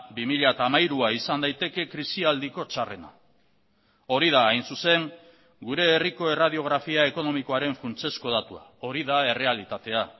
bi mila hamairua izan daiteke krisialdiko txarrena hori da hain zuzen gure herriko erradiografia ekonomikoaren funtsezko datua hori da errealitatea